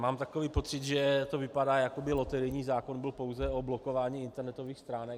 Mám takový pocit, že to vypadá, jako by loterijní zákon byl pouze o blokování internetových stránek.